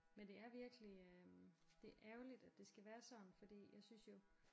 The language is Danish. Men det er virkelig øh det er ærgerligt at det skal være sådan fordi jeg synes jo